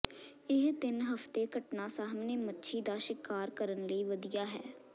ਇਹ ਤਿੰਨ ਹਫ਼ਤੇ ਘਟਨਾ ਸਾਹਮਣੇ ਮੱਛੀ ਦਾ ਸ਼ਿਕਾਰ ਕਰਨ ਲਈ ਵਧੀਆ ਹੈ